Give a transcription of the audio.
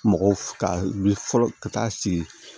Mɔgɔw ka wuli fɔlɔ ka taa sigi